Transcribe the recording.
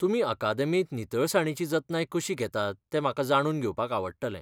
तुमी अकादेमींत नितळसाणीची जतनाय कशी घेतात तें म्हाका जाणून घेवपाक आवडटलें.